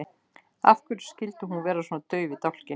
Og af hverju skyldi hún vera svona dauf í dálkinn?